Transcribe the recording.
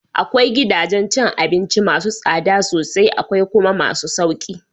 Akwai gidajen cin abinci masu tsada sosai akwai kuma masu sauki